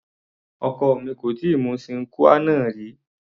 Ọkọ mi kò tíì mu sine qua non rí.